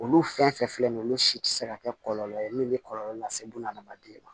Olu fɛn fɛn filɛ nin ye olu si ti se ka kɛ kɔlɔlɔ ye min bi kɔlɔlɔ lase buna adamaden ma